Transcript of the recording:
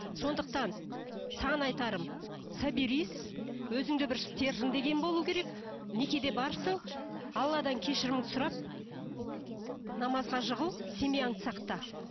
сондықтан саған айтарым соберись өзіңде бір стержен деген болу керек некеде барсың алладан кешіріміңді сұрап намазға жығыл семьяңды сақта